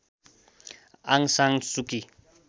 आङ San सुकी